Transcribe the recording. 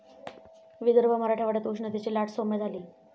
विदर्भ, मराठवाड्यात उष्णतेची लाट साैम्य झाली.